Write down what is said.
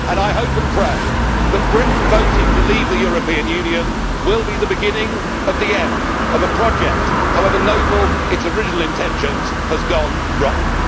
I hope and pray that Britain voting to leave the European Union will be the beginning of the end of a project which, however noble its original intentions, has gone rotten.